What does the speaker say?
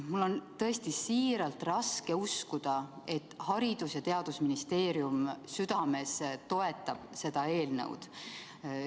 Mul on tõesti raske uskuda, et Haridus- ja Teadusministeerium südames seda eelnõu toetab.